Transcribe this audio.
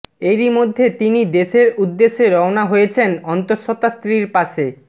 এরই মধ্যে তিনি দেশের উদ্দেশে রওয়ানা হয়েছেন অন্তঃসত্ত্বা স্ত্রীর পাশে